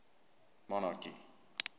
monarchy